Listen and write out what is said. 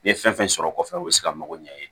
N ye fɛn fɛn sɔrɔ kɔfɛ u bɛ se ka mago ɲɛ i ye